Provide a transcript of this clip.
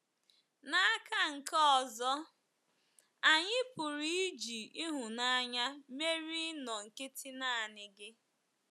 N’aka nke ọzọ, anyị pụrụ iji ịhụnanya merie ịnọ nkịtị naanị gị.